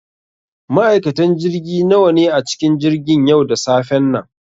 Ma'aikatan jirgi nawa ne a cikin jirgin yau da safen nan?